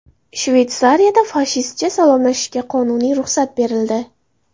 Shveysariyada fashistcha salomlashishga qonuniy ruxsat berildi.